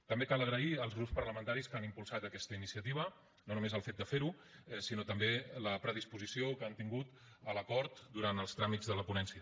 també cal agrair als grups parlamentaris que han impulsat aquesta iniciativa no només el fet de fer ho sinó també la predisposició que han tingut a l’acord durant els tràmits de la ponència